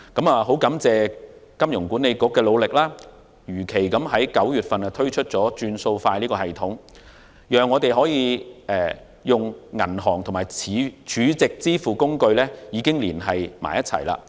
我很感謝香港金融管理局的努力，如期在9月推出"轉數快"系統，讓銀行和儲值支付工具連繫起來。